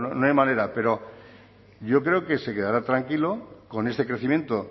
no hay manera pero yo creo que se quedará tranquilo con este crecimiento